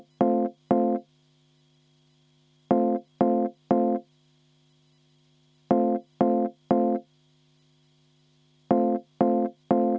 Kas te soovite ka hääletust?